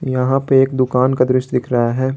यहां पे एक दुकान का दृश्य दिख रहा है।